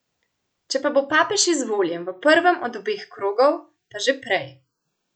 Če pa bo papež izvoljen v prvem od obeh krogov, pa že prej.